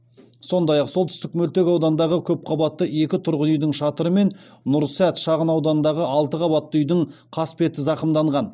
сондай ақ солтүстік мөлтек аудандағы көпқабатты екі тұрғын үйдің шатыры мен нұрсәт шағын ауданындағы алты қабатты үйдің қасбеті зақымданған